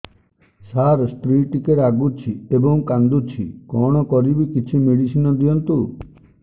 ସାର ସ୍ତ୍ରୀ ଟିକେ ରାଗୁଛି ଏବଂ କାନ୍ଦୁଛି କଣ କରିବି କିଛି ମେଡିସିନ ଦିଅନ୍ତୁ